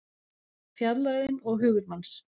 Fjarlægðin og hugur manns